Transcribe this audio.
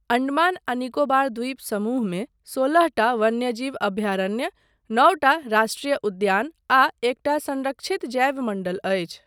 अण्डमान आ निकोबार द्वीप समूहमे सोलहटा वन्यजीव अभयारण्य, नओटा राष्ट्रीय उद्यान आ एकटा संरक्षित जैवमण्डल अछि।